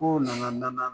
Kow nana